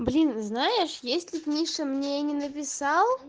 блин знаешь если б миша мне не написал